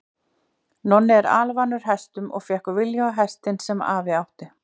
Nonni var alvanur hestum og fékk viljugasta hestinn sem afi átti.